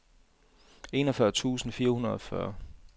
otteogfyrre tusind fire hundrede og fyrre